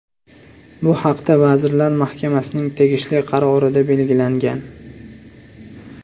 Bu haqda Vazirlar Mahkamasining tegishli qarorida belgilangan .